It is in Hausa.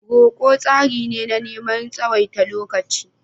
Roko tsari ne na neman tsawaita lokaci.